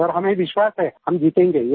sir हमें विश्वास है हम जीतेंगे